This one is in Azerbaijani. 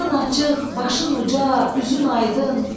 Alnın açıq, başın uca, üzün aydın.